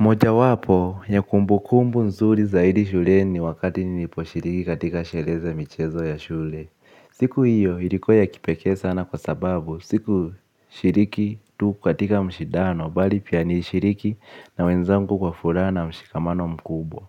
Moja wapo, ya kumbukumbu nzuri zaidi shuleni wakati niliposhiriki katika sheree za michezo ya shule. Siku hiyo, ilikua ya kipekee sana kwa sababu, siku shiriki tu katika mashindano, bali pia nilishiriki na wenzangu kwa furaha mshikamano mkubwa.